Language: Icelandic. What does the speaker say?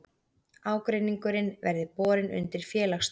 Ágreiningurinn verði borin undir félagsdóm